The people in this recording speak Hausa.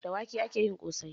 Da wake ake yin ƙosai